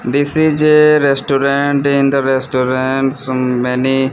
this is a restaurant in the restaurant so many--